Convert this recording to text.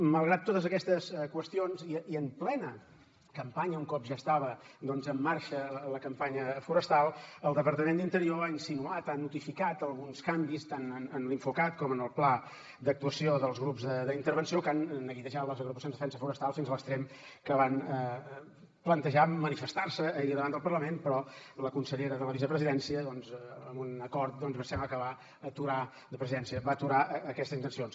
malgrat totes aquestes qüestions i en plena campanya un cop ja estava doncs en marxa la campanya forestal el departament d’interior ha insinuat ha notificat alguns canvis tant en l’infocat com en el pla d’actuació dels grups d’intervenció que han neguitejat les agrupacions de defensa forestal fins a l’extrem que van plantejar manifestar se ahir davant del parlament però la consellera de la vicepresidència doncs amb un acord sembla que va aturar de la presidència aquestes intencions